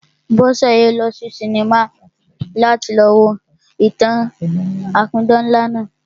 Bọ́sẹ̀ yóò lọ sí sinimá láti lọ wo ìtàn-an apidán ńlá náà